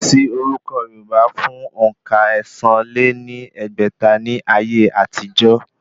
Kò sí orúkọ̀ yorùbá fún òǹkà ẹ̀sán lé ní ẹgbẹ́ta ní ayé àtijọ́